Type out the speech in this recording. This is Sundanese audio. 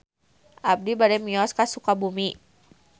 Abi bade mios ka Sukabumi